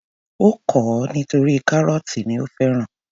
Ó kọ̀ ọ́ nítorí kárọ́tì ni ó fẹ́ràn.